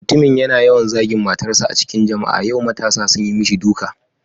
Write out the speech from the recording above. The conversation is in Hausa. Mutumin yana yawan zagin matarsa a cikin jama'a, yau matasa sun yi mishi duka.